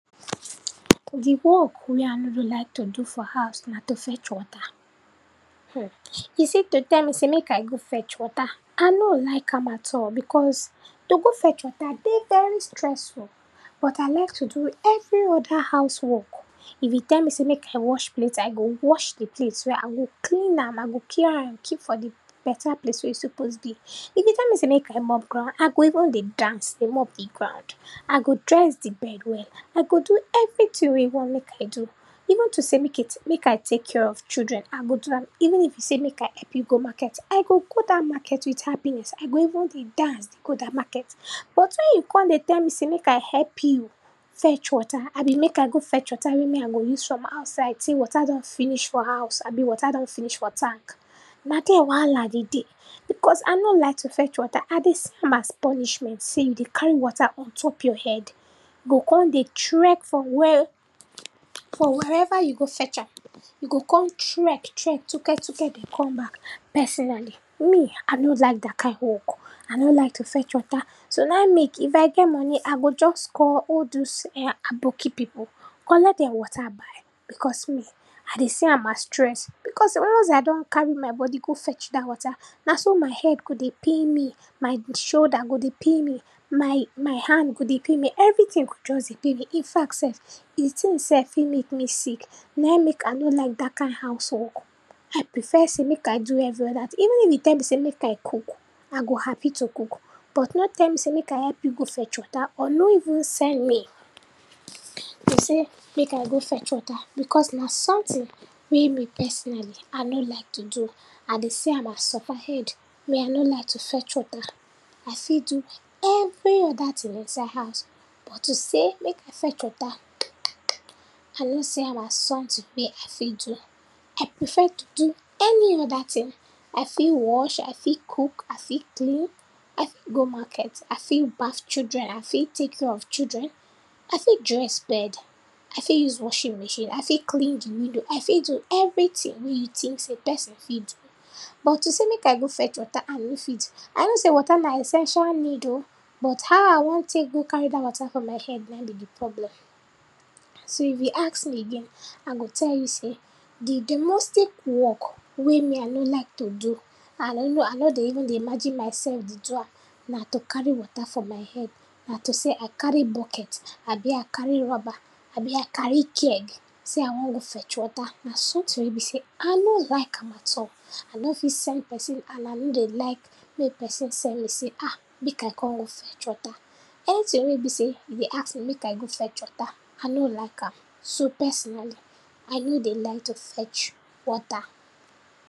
Di work wey I no dey like to do for house na to fetch water. UM, you see to tell me sey mek I go fetch water, I no o like am at all, because to go fetch water dey very stressful, but I like to do every oda house work. If you tell me sey mek I wash plate, I go wash di plate well, I go clean am, I go pair am keep for di beta place wey suppose dey. If you tell me sey mek I mop ground, I go even dey dance dey mop di ground, I go dress di bed well, I go do everytin wey you want mek I do. Even to sey mek e tek, mek I take care of children, I go do am, even if you sey mek I help you go market, I go go dat market wit happiness, I go even dey dance dey go dat market. But, when you kon dey tell me sey mek I help you fetch water, abi mek I go fetch water wey me I go use from outside, sey water don finish for house abi water don finish for tank, na dier wahala dey dey, because I no like to fetch water. I dey see am as punishment sey e dey carry water on top your head, you go kon dey trek for were, for wherever you go fetch am, you go kon trek trek tuketuke dey come back. Personally, me, I no like dat kind work, I no like to fetch water. So, naim mek, if I get money I go just call all dose um aboki pipu, collect den water buy, because me, I dey see am as stress, because once I don carry my body go fetch dat water, na so my head go dey pain me, my shoulder go dey pain me, my my hand go dey pain me, everytin go just dey pain me, in fact sef, di tin sef fit mek me sick, naim mek I no like dat kind house work. I prefer sey mek I do every oda tin, even if you tell me sey mek I cook, I go happy to cook but no tell me sey mek I help you go fetch water or no even send me, go sey mek I go fetch water because na sometin wey me personally, I no like to do, I dey see am as sofa head, me I no like to fetch water. I fit do every oda tin inside house but to sey mek I fetch water UM I no see am as sometin wey I fit do. I prefer to do any oda tin, I fit wash, I fit cook, I fit clean, I fit go market, I fit baf children, I fit take care of children, I fit dress bed, I fit use washing machine, I fit clean di window, I fit do every tin wey you tink sey person fit do. But to sey mek I go fetch water, I no fit. I know sey water na essential need um but how I wan tek go carry dat water for my head naim be di problem. So, if you ask me again, I go tell you sey di domestic work wey me I no like to do and I no, I no dey even dey imagine myself dey do am, na to carry water for my head, na to sey I carry bucket, abi I carry rubber, abi I carry keg sey I wan go fetch water, na sometin wey be sey I no like am at all. I no fit send person and I no dey like mek person send me sey um, mek I go fetch water. Anytin wey be sey you dey ask me mek I go fetch water, I no like am, so, personally I no dey like to fetch water.